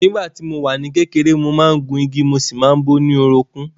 Nígbà tí mo wà ní kékeré, mo máa ń gun igi mo sì máa ń bó orúnkún mi